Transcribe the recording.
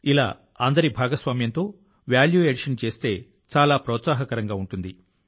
ఈ రకమైన కమ్యూనిటీ ఆధారిత విలువ జోడింపు చాలా ఉత్తేజకరమైనది